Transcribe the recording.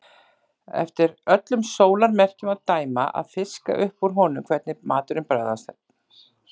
Eftir öllum sólarmerkjum að dæma að fiska upp úr honum hvernig maturinn bragðaðist.